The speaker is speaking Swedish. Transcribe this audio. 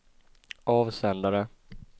avsändare